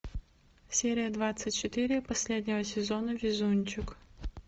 серия двадцать четыре последнего сезона везунчик